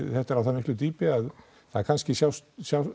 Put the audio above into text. þetta er á það miklu dýpi að það kannski sjást